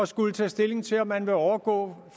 skulle tage stilling til om man vil overgå